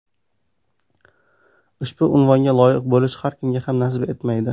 Ushbu unvonga loyiq bo‘lish har kimga ham nasib etmaydi.